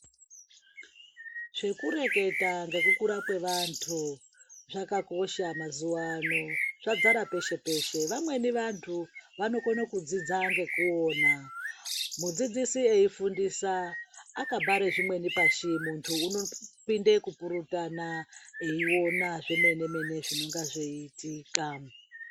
Zvekureketa ngekukura kwevantu zvakakosha mazuva ano, zvazarapeshe-peshe. Vamweni vantu vanokone kudzidza ngekuona. Mudzidzisi eifundisa akabhare zvimwe pashi muntu unopinde kupurutana, eiona zvemene-mene zvinenge zveiitika.